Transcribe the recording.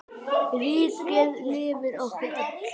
Ríkið lifir okkur öll.